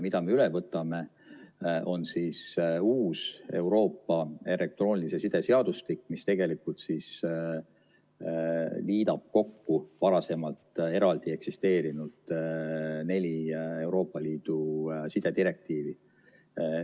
Mis me üle võtame, on uus Euroopa elektroonilise side seadustik, mis tegelikult liidab kokku neli varem eraldi eksisteerinud Euroopa Liidu sidedirektiivi.